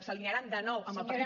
s’alinearan de nou amb el partit